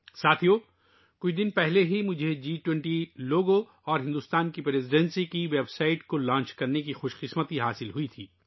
دوستو، کچھ دن پہلے مجھے جی 20 لوگو اور بھارت کی صدارت کی ویب سائٹ لانچ کرنے کا شرف حاصل ہوا